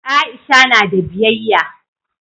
Aisha na da biyayya